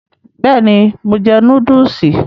Bẹ́ẹ̀ni, mo jẹ núdúùsì.